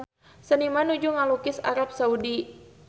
Seniman nuju ngalukis Arab Saudi